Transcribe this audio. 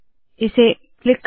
इसे क्लिक करे